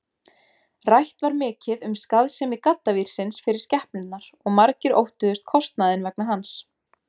Rætt var mikið um skaðsemi gaddavírsins fyrir skepnurnar og margir óttuðust kostnaðinn vegna hans.